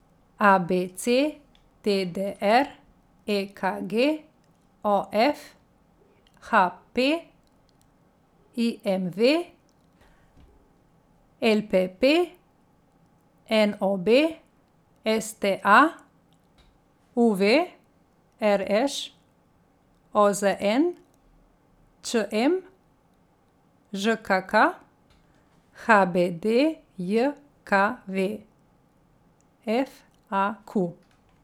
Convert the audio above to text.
A B C; D D R; E K G; O F; H P; I M V; L P P; N O B; S T A; U V; R Š; O Z N; Č M; Ž K K; H B D J K V; F A Q.